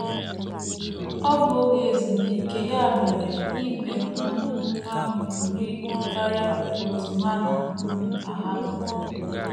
Ọ bụ oge ezumike, ya mere ìgwè um ahụ buru ibu karịa otú ha na um - ahabu.